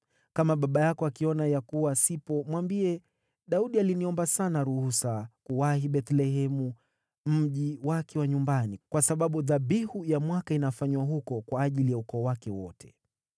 Kama baba yako akiona ya kuwa sipo, mwambie, ‘Daudi aliniomba sana ruhusa kuwahi Bethlehemu, mji wake wa nyumbani, kwa sababu dhabihu ya mwaka inafanywa huko kwa ajili ya ukoo wake wote.’